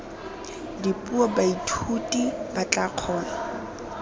dipuo baithuti ba tla kgona